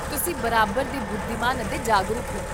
ਤੁਸੀਂ ਬਰਾਬਰ ਦੇ ਬੁੱਧੀਮਾਨ ਅਤੇ ਜਾਗਰੂਕ ਹੋ